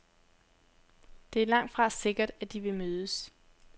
Det er langtfra sikkert, at de vil mødes.